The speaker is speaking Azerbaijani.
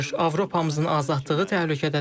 Avropamızın azadlığı təhlükədədir.